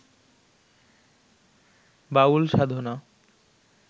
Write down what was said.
বাউল সাধনা